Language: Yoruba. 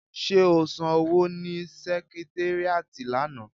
Ṣé o san owó ni sẹkitéríàtì lánàá?